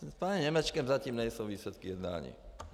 S panem Němečkem zatím nejsou výsledky jednání.